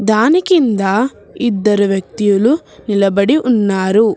దాని కింద ఇద్దరు వ్యక్తులు నిలబడి ఉన్నారు.